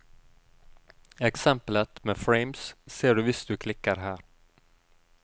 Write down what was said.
Eksempelet med frames ser du hvis du klikker her.